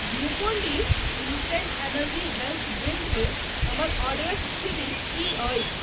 Glucon D instant energy health drink मे हमर ऑर्डरक स्थिति की अछि ?